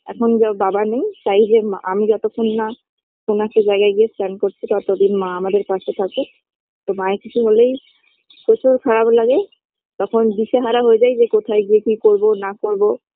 এখন জব বাবা নেই চাই যে মা আমি যতক্ষণ না কোন একটা জায়গায় গিয়েই stand করছি ততদিন মা আমাদের পাশে থাকুক তো মায়ের কিছু হলেই প্রচুর খারাপ লাগে তখন দিশেহারা হয়ে যাই যে কোথায় গিয়ে কি করব কি না করব